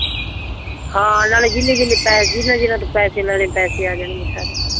ਹਾਂ ਨਾਲੇ ਜਿੰਨੇ ਜਿੰਨੇ ਪੈਸੇ ਜਿੰਨਾਂ ਜਿੰਨਾਂ ਦੇ ਪੈਸੇ ਲੈਣੇ ਪੈਸੇ ਆ ਜਾਣਗੇ ਸਾਰੇ